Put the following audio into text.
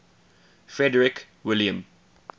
frederick william